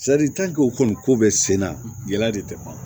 o kɔni ko bɛ sen na yala de tɛ ban